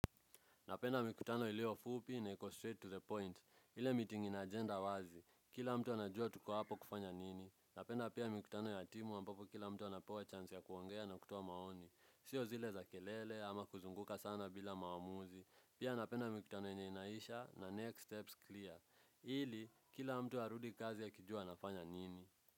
Napenda mikutano ilio fupi na iko straight to the point. Ile meeting ina agenda wazi. Kila mtu anajua tuko hapo kufanya nini. Napenda pia mikutano ya timu ambapo kila mtu anapewa chance ya kuongea na kutuoa maoni. Sio zile za kelele ama kuzunguka sana bila maamuzi. Pia napenda mikutano yenye inaisha na next steps clear. Ili, kila mtu arudi kazi akijua anafanya nini.